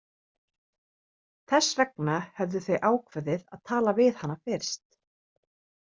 Þess vegna höfðu þau ákveðið að tala við hana fyrst.